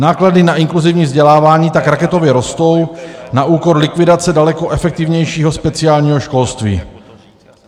Náklady na inkluzivní vzdělávání tak raketově rostou na úkor likvidace daleko efektivnějšího speciálního školství.